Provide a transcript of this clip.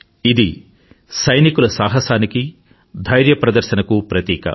ఇది సైనికుల సాహసానికిధైర్య ప్రదర్శనకు ప్రతీక